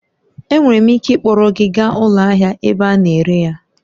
Enwere m ike ịkpọrọ gị gaa ụlọ ahịa ebe a na-ere ya